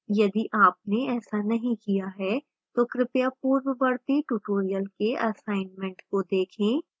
यदि आपने ऐसा नहीं किया है तो कृपया पूर्ववर्ती tutorials के assignments को देखें